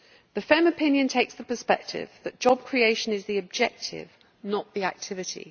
The FEMM opinion takes the perspective that job creation is the objective, not the activity.